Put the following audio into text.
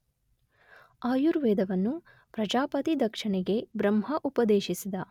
ಆಯುರ್ವೇದವನ್ನು ಪ್ರಜಾಪತಿ ದಕ್ಷನಿಗೆ ಬ್ರಹ್ಮ ಉಪದೇಶಿಸಿದ.